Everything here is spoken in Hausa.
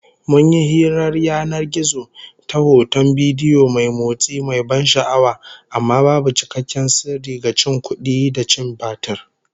Mun yi hirar yanan gizo ta hoton bidiyo mai motsi, mai ban sha'awa, amma babu cikakken sirri, ga cin kudi da cin batir